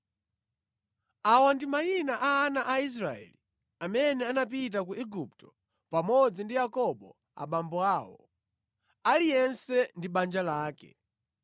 Awa ndi mayina a ana a Israeli amene anapita ku Igupto pamodzi ndi Yakobo abambo awo, aliyense ndi banja lake: